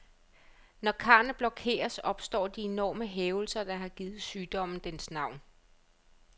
Når karrene blokeres, opstår de enorme hævelser, der har givet sygdommen dens navn.